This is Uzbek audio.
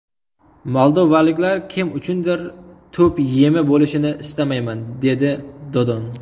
Moldovaliklar kim uchundir to‘p yemi bo‘lishini istamayman”, dedi Dodon.